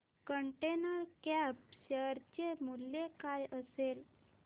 container Corp share चे मूल्य काय असेल